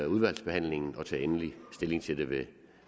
udvalgsbehandlingen og tager endelig stilling til det ved